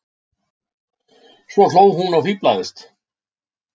Svo hló hún og fíflaðist.